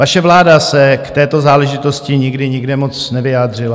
Vaše vláda se k této záležitosti nikdy nikde moc nevyjádřila.